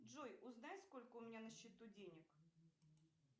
джой узнай сколько у меня на счету денег